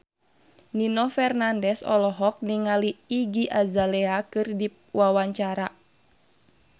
Nino Fernandez olohok ningali Iggy Azalea keur diwawancara